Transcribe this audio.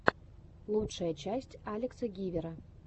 лучшая часть алекса гивера